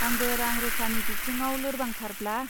आंबो रां रूपानि बिथिङाव लोरबां थारब्ला.